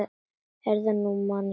Heyrðu, nú man ég.